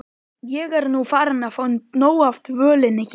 Ég er nú farin að fá nóg af dvölinni hér.